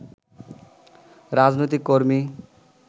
রাজনৈতিক কর্মী